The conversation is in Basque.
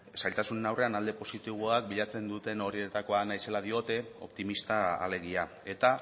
zailtasunen aurrean alde positiboak bilatzen duten horietako naizela diote optimista alegia eta